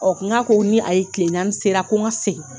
Ɔ n k'a ko ni a ye tilen naani sera ko n ka segin